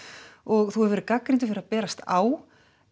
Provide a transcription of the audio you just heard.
og þú hefur verið gagnrýndur fyrir að berast á